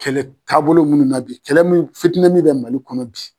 Kɛlɛ taabolo munnu na bi kɛlɛ mun fitinɛ min bɛ Mali kɔnɔ bi